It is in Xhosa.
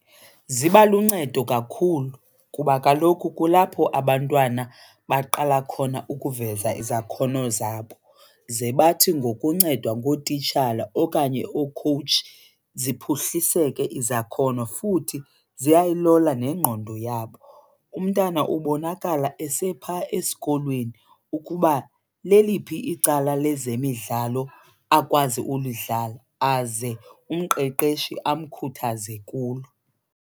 Ziba luncedo kakhulu kuba kaloku kulapho abantwana baqala khona ukuveza izakhono zabo, ze bathi ngokuncedwa ngootitshala okanye okhowutshi ziphuhliseke izakhono. Futhi ziyayilola nengqondo yabo, umntana ubonakala esepha esikolweni ukuba leliphi icala lezemidlalo akwazi ulidlala aze umqeqeshi amkhuthaze kulo.